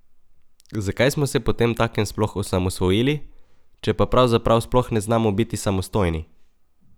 Zakaj smo se potemtakem sploh osamosvojili, če pa pravzaprav sploh ne znamo biti samostojni?